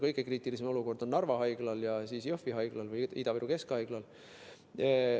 Kõige kriitilisem olukord on Narva Haiglas ja Ida-Viru Keskhaiglas.